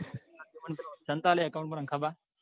તન તાલ account માં નાખવા.